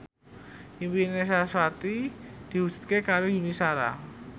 impine sarasvati diwujudke karo Yuni Shara